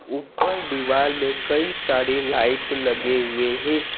ऊपर दीवार में कई सारी लाइट लगे हुए है।